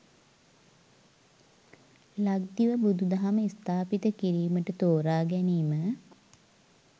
ලක්දිව බුදුදහම ස්ථාපිත කිරීමට තෝරාගැනීම